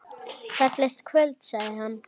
Fallegt kvöld sagði hann.